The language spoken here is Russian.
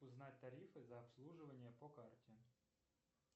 узнать тарифы за обслуживание по карте